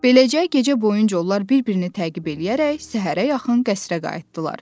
Beləcə, gecə boyunca onlar bir-birini təqib eləyərək səhərə yaxın qəsrə qayıtdılar.